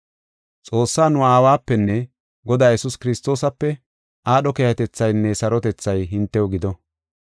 Xoossaa nu Aawapenne Godaa Yesuus Kiristoosape aadho keehatethaynne sarotethay hintew gido.